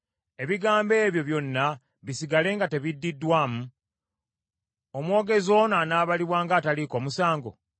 “Ebigambo ebyo byonna bisigale nga tebiddiddwamu? Omwogezi ono anaabalibwa ng’ataliiko musango?